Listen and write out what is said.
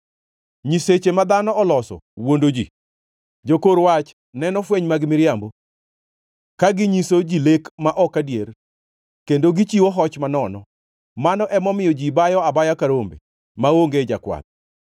Nyiseche ma dhano oloso wuondo ji, jokor wach neno fweny mag miriambo; ka ginyiso ji lek ma ok adier, kendo gichiwo hoch manono. Mano emomiyo ji bayo abaya ka rombe maonge jakwath.